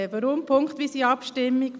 Weshalb punktweise Abstimmung?